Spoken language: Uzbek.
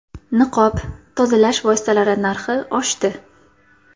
Niqob, tozalash vositalari narxi oshdi.